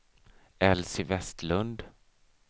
Elsy Vestlund